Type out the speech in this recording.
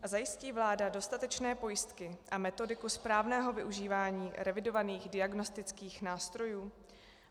A zajistí vláda dostatečné pojistky a metodiku správného využívání revidovaných diagnostických nástrojů?